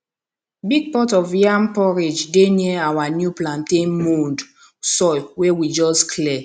big pot of yam porridge dey near our new plantain mound soil wey we just clear